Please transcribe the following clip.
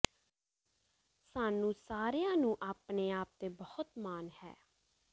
ਸਾਨੂੰ ਸਾਰਿਆਂ ਨੂੰ ਆਪਣੇ ਆਪ ਤੇ ਬਹੁਤ ਮਾਣ ਹੈ